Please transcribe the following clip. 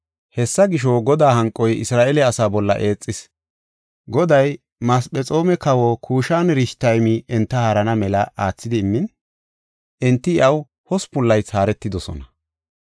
Hessa gisho, Godaa hanqoy Isra7eele asaa bolla eexis. Goday Masephexoome kawa Kushan-Rishataymi enta haarana mela aathidi immin, enti iyaw hospun laythi haaretidosona.